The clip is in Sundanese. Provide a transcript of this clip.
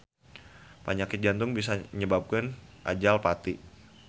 Panyakit jantung bisa nyababkeun ajal pati.